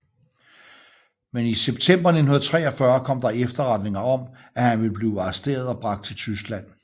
Men i september 1943 kom der efterretninger om at han ville blive arresteret og bragt til Tyskland